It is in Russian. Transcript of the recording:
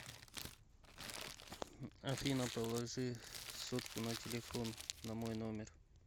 афина положи сотку на телефон на мой номер